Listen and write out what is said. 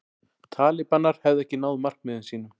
Talibanar hefðu ekki náð markmiðum sínum